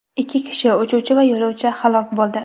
Ikki kishi uchuvchi va yo‘lovchi halok bo‘ldi.